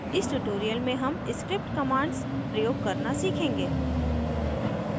इस tutorial में हम script commands प्रयोग करना सीखेंगे